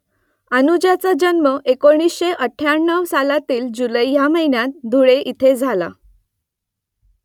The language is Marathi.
अनुजाचा जन्म एकोणीसशे अठ्ठ्याण्णव सालातील जुलै या महिन्यात धुळे इथे झाला